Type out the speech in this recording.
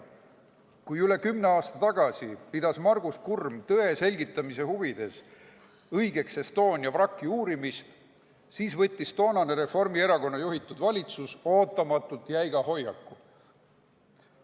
Kui üle kümne aasta tagasi pidas Margus Kurm tõe selgitamise huvides õigeks Estonia vraki uurimist, siis võttis toonane Reformierakonna juhitud valitsus ootamatult jäiga hoiaku.